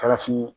Farafin